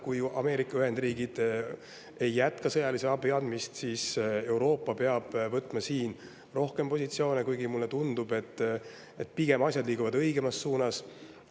Kui Ameerika Ühendriigid ei jätka sõjalise abi andmist, siis peab Euroopa võtma siin positsioone, kuigi mulle tundub, et asjad liiguvad pigem õigemas suunas.